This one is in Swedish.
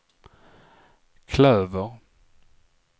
klöver